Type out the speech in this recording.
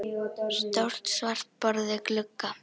Stórt svart borð við glugga.